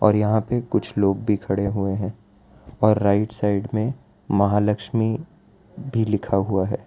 यहां पे कुछ लोग भी खड़े हुए हैं और राइट साइड में महालक्ष्मी भी लिखा हुआ है।